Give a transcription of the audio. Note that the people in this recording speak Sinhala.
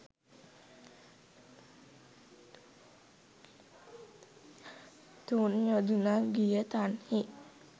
තුන් යොදුනක් ගිය තන්හි